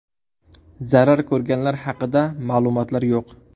Zarar ko‘rganlar haqida ma’lumotlar yo‘q.